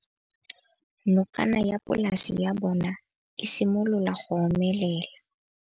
Nokana ya polase ya bona, e simolola go omelela.